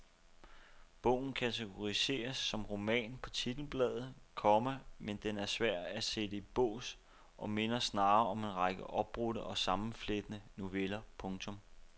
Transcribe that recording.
Bogen kategoriseres som roman på titelbladet, komma men den er svær at sætte i bås og minder snarere om en række opbrudte og sammenflettede noveller. punktum